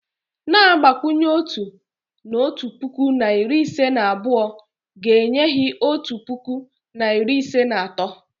Na-agbakwụnye otu, na otu puku na iri ise na abụọ, ga enye hi otu puku na iri ise na atọ